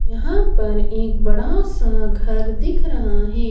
यहां पर एक बड़ा सा घर दिख रहा है।